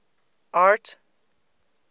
art